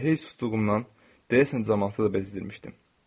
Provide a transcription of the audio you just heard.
Elə heç susduğumdan deyəsən camaatı da bezdirmişdim.